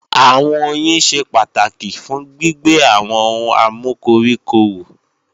Àwọn oyin ṣe pàtàkì fún gbígbé àwọn ohun amúkoríko wù